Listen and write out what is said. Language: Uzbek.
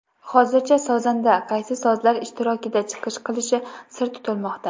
Hozircha sozanda qaysi sozlar ishtirokida chiqish qilishi sir tutilmoqda.